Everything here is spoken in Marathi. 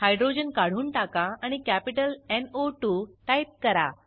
हायड्रोजन काढून टाका आणि कॅपिटल न् ओ 2 टाईप करा